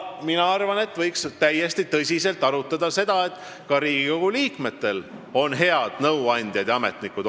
Ja täiesti tõsiselt võiks arutada seda, et ka Riigikogu liikmetel on olemas head nõuandjad ja ametnikud.